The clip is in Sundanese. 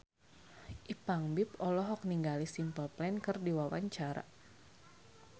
Ipank BIP olohok ningali Simple Plan keur diwawancara